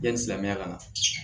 Yanni silamɛya ka na